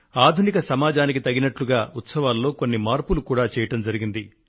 ఆధునిక సమాజానికి తగినట్లుగా ఉత్సవాలలో కొన్ని మార్పులు కూడా చేయడం జరిగింది